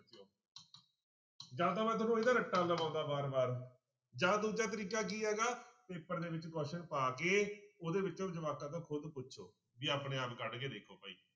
ਜਾਂ ਤਾਂ ਮੈਂ ਤੁਹਾਨੂੰ ਇਹਦਾ ਰੱਟਾ ਲਵਾਉਂਦਾ ਵਾਰ ਵਾਰ ਜਾਂ ਦੂਜਾ ਤਰੀਕਾ ਕੀ ਹੈਗਾ ਪੇਪਰ ਦੇ ਵਿੱਚ question ਪਾ ਕੇ ਉਹਦੇ ਵਿੱਚੋਂ ਜਵਾਕਾਂ ਤੋਂ ਖੁੱਦ ਪੁੱਛੋ ਵੀ ਆਪਣੇ ਆਪ ਕੱਢ ਕੇ ਦੇਖੋ ਭਾਈ।